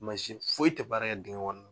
Mansi foyi tɛ baara kɛ dingɛ kɔnɔ